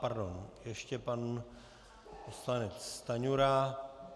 Pardon, ještě pan poslanec Stanjura.